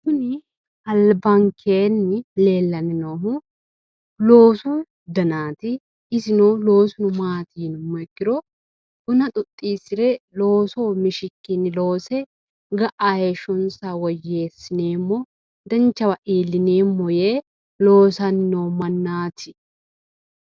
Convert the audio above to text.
Kuni albankeenni leellanni noohu loosu danaati isino loosuno maati yinummoha ikkiro buna xoxxiissire looso mishikkinni loose ga’a heeshshonsa woyyeessineemmo danchawa iillineemmo yee loosanni noo mannaati.